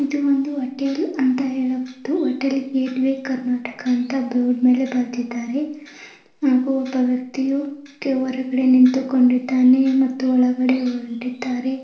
ಇದು ಒಂದು ಹೋಟೆಲ್ ಅಂತ ಹೇಳಬಹುದು ಹೋಟೆಲ್ ಗೇಟ್ ವೆ ಕರ್ನಾಟಕ ಅಂತ ಬೋರ್ಡ್ ಮೇಲೆ ಬರದಿದ್ದರೆ ಹಾಗು ಒಬ್ಬ ವೆಕ್ತಿಯು ಒರಗಡೆ ನಿಂತುಕೊಂಡಿದ್ದನ್ನೇ. ಮತ್ತು ಒಳಗಡೆ ಹೋರಾಡಿದ್ದಾರೆ.